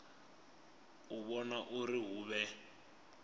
u vhona uri hu vhe